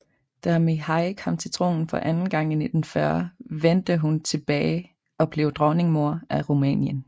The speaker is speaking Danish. Da Mihai kom til tronen for anden gang i 1940 vente hun tilbage og blev Dronningmor af Rumænien